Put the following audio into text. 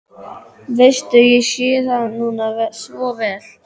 Veistu, ég sé það núna svo vel.